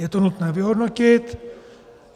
Je to nutné vyhodnotit.